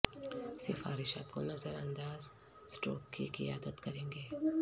سفارشات کو نظر انداز سٹروک کی قیادت کریں گے